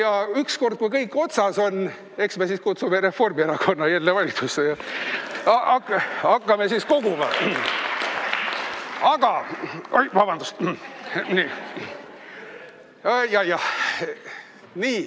Aga ükskord, kui kõik otsas on, eks me siis kutsume Reformierakonna jälle valitsusse ja hakkame koguma.